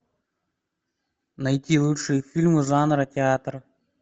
найти лучшие фильмы жанра театр